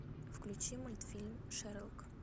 включи мультфильм шерлок